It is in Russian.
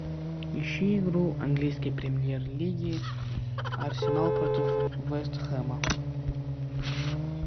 ищи игру английской премьер лиги арсенал против вестхэма